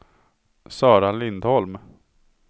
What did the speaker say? Sara Lindholm